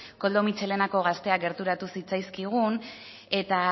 koldo mitxelenako gazteak gerturatu zitzaizkigun eta